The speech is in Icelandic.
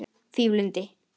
Fífulind